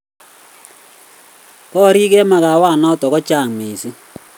korik eng makawet notok ko chang mising